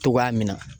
Togoya min na